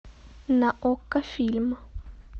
на окко фильм